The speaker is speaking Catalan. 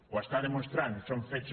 ho està demostrant són fets